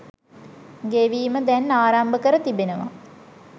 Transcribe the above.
ගෙවීම දැන් ආරම්භ කර තිබෙනවා.